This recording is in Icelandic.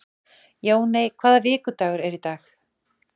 Jóney, hvaða vikudagur er í dag?